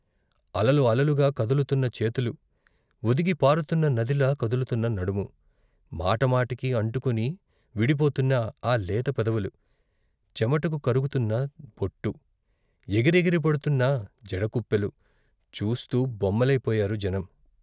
అలలు అలలుగా కదులుతున్న చేతులు, వొదిగి పారుతున్న నదిలా కదులుతున్న నడుము మాట మాటకీ అంటుకుని విడిపోతున్న ఆ లేత పెదవులు, చెమటకు కరుగుతున్న బొట్టు, ఎగిరెగిరి పడుతున్న జడకుప్పెలు చూస్తూ బొమ్మలై పోయారు జనం.